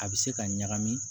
A bɛ se ka ɲagami